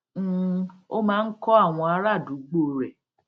um ó máa ń kọ́ àwọn ará àdúgbò rẹ̀